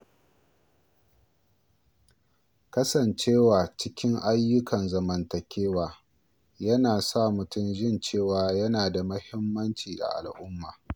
Kasancewa cikin ayyukan zamantakewa yana sa mutum jin cewa yana da muhimmanci a al’umma.